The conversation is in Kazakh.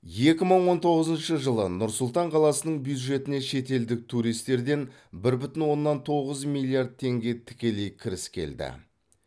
екі мың он тоғызыншы жылы нұр сұлтан қаласының бюджетіне шетелдік туристерден бір бүтін оннан тоғыз миллиард теңге тікелей кіріс келді